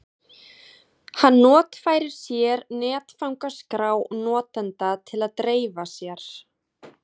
Hann notfærir sér netfangaskrá notenda til að dreifa sér.